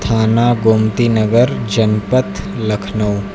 थाना गोमती नगर जनपद लखनऊ।